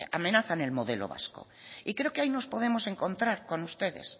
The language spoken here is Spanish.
amenazan el modelo vasco y creo que ahí nos podemos encontrar con ustedes